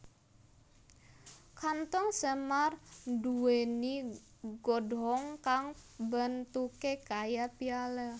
Kanthong semar nduwèni godhong kang bentuké kaya piala